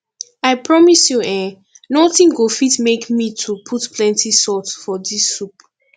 i promise you eh nothing go fit make me to put plenty salt for dis soup